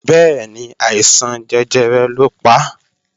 Bẹ́ẹ̀ni, àìsàn jẹjẹrẹ lọ pa